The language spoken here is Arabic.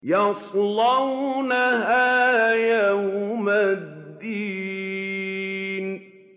يَصْلَوْنَهَا يَوْمَ الدِّينِ